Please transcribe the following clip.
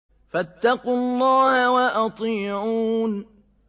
فَاتَّقُوا اللَّهَ وَأَطِيعُونِ